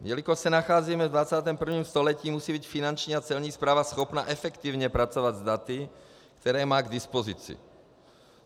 Jelikož se nacházíme v 21. století, musí být Finanční a Celní správa schopna efektivně pracovat s daty, která má k dispozici.